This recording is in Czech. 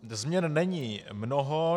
Změn není mnoho.